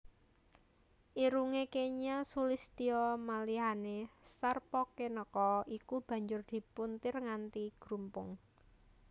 Irungé kenya sulistya malihané Sarpakenaka iku banjur dipuntir nganti grumpung